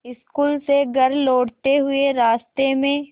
school से घर लौटते हुए रास्ते में